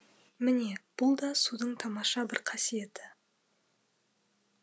міне бұл да судың тамаша бір қасиеті